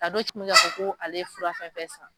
A dɔw cɛ bɛ k'a fɔ ko ale fura fɛn fɛn san